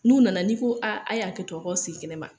N'u nana n'i ko aa, a ye hakɛtɔ a k'aw sigi kɛnɛ ma.